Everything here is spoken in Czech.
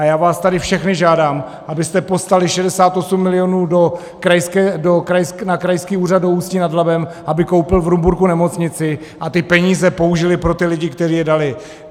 A já vás tady všechny žádám, abyste poslali 68 milionů na Krajský úřad do Ústí nad Labem, aby koupil v Rumburku nemocnici a ty peníze použili pro ty lidi, kteří je dali.